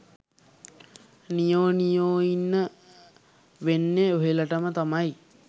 නියෝ නියෝඉන්න වෙන්නෙත් ඔහෙලටම තමයි